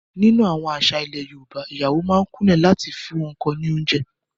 Nínú àwọn àṣà ilẹ̀ Yorùbá, ìyàwó a máa kúnlẹ̀ láti fún ọkọ ní oúnjẹ